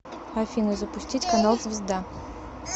афина запустить канал звезда